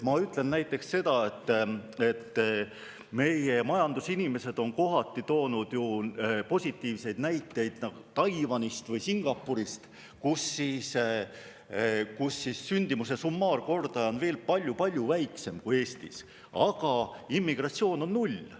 Ma näite, et meie majandusinimesed on kohati toonud ju positiivseid näiteid Taiwani või Singapuri kohta, kus sündimuse summaarkordaja on veel palju-palju väiksem kui Eestis, aga immigratsioon on null.